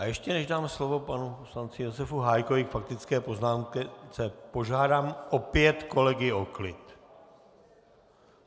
A ještě než dám slovo panu poslanci Josef Hájkovi k faktické poznámce, požádám opět kolegy o klid.